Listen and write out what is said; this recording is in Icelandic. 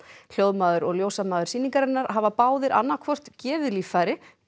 hljóðmaður og ljósamaður sýningarinnar hafa báðir annað hvort gefið líffæri eða